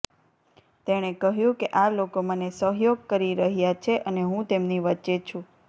તેણે કહ્યું કે આ લોકો મને સહયોગ કરી રહ્યા છે અને હું તેમની વચ્ચે છું